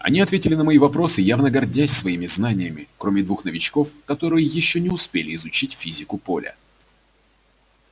они ответили на мои вопросы явно гордясь своими знаниями кроме двух новичков которые ещё не успели изучить физику поля